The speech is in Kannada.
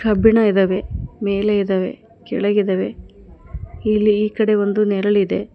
ಕಬ್ಬಿಣ ಇದಾವೆ ಮೇಲೆ ಇದಾವೆ ಕೆಳಗಿದಾವೆ ಇಲ್ಲಿ ಈಕಡೆ ಒಂದು ನೆರಳಿದೆ.